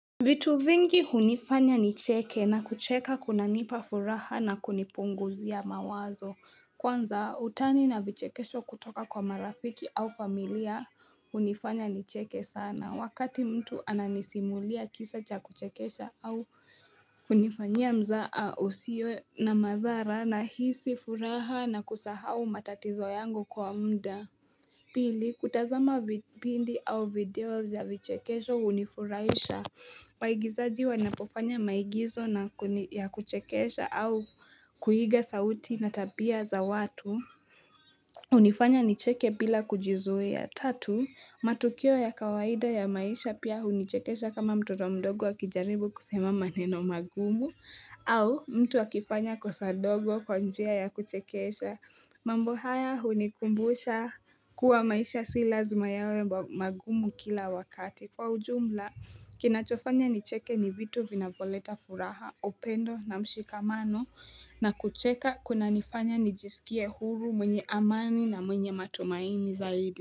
Vitu vingi hunifanya nicheke na kucheka kunanipa furaha na kunipunguzia mawazo. Kwanza utani na vichekesho kutoka kwa marafiki au familia hunifanya nicheke sana. Wakati mtu ananisimulia kisa cha kuchekesha au kunifanyia mzaha usio na madhara nahisi furaha na kusahau matatizo yangu kwa muda. Pili, kutazama vipindi au video za vichekesho hunifurahisha. Maigizaji wanapofanya maigizo ya kuchekesha au kuiga sauti na tabia za watu. Hunifanya nicheke bila kujizuia. Tatu, matukio ya kawaida ya maisha pia hunichekesha kama mtoto mdogo wakijaribu kusema maneno magumu. Au mtu akifanya kosa dogo kwa njia ya kuchekesha. Mambo haya hunikumbusha kuwa maisha si lazima yawe magumu kila wakati. Kwa ujumla kinachofanya nicheke ni vitu vinavyoleta furaha, upendo na mshikamano na kucheka kunanifanya nijisikie huru mwenye amani na mwenye matumaini zaidi.